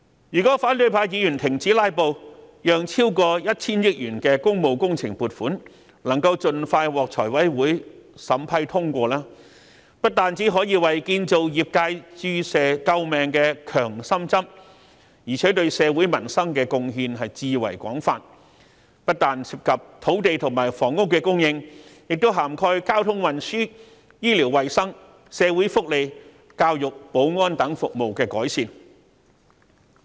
如果反對派議員停止"拉布"，讓超過 1,000 億元的工務工程撥款，能盡快獲財委會審批通過，不單可以為建造業界注射救命的強心針，而且對社會民生的貢獻至為廣泛，不但涉及土地及房屋供應，亦涵蓋交通運輸、醫療衞生、社會福利、教育及保安等服務的改善。